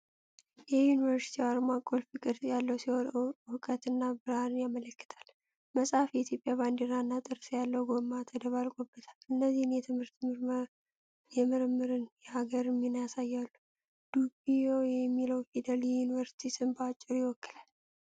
የዩኒቨርሲቲው አርማ ቁልፍ ቅርጽ ያለው ሲሆን፣ እውቀትና ብርሃንን ያመለክታል። መጽሐፍ፣ የኢትዮጵያ ባንዲራ እና ጥርስ ያለው ጎማ ተደባልቆበታል። እነዚህም የትምህርትን፣ የምርምርንና የሀገርን ሚና ያሳያሉ። ዲቢዩ የሚለው ፊደል የዩኒቨርሲቲውን ስም በአጭሩ ይወክላል።